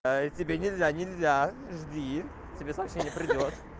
а и тебе нельзя нельзя жди тебе сообщение придёт